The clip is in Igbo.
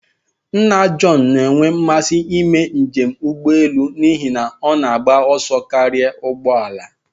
Nna John na-enwe mmasị ime njem n'ụgbọelu n'ihi na ọ na-agba ọsọ karịa ụgbọ ala